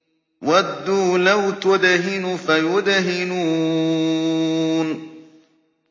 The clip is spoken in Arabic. وَدُّوا لَوْ تُدْهِنُ فَيُدْهِنُونَ